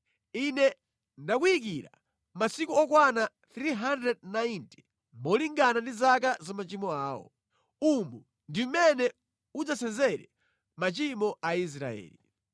Ine ndakuyikira masiku okwana 390 malingana ndi zaka za machimo awo. Umu ndi mmene udzasenzere machimo a Aisraeli.